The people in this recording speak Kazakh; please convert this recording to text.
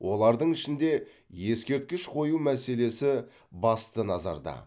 олардың ішінде ескерткіш қою мәселесі басты назарда